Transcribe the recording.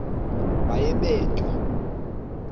baye bee tyaa